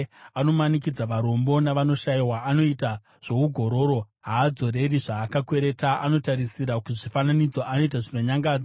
Anomanikidza varombo navanoshayiwa. Anoita zvougororo. Haadzoreri zvaakakwereta. Anotarisira kuzvifananidzo. Anoita zvinonyangadza.